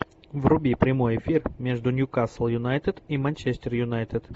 вруби прямой эфир между ньюкасл юнайтед и манчестер юнайтед